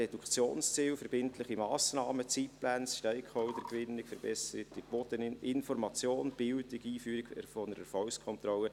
Reduktionsziele, verbindliche Massnahmen, Zeitpläne, Stakeholder-Gewinnung, verbesserter Boden, Information, Bildung, Einführung einer Erfolgskontrolle.